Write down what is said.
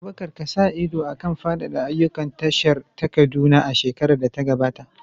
Abubakar ka sa ido a kan faɗaɗa ayyukan tashar ta Kaduna a shekarar da ta gabata.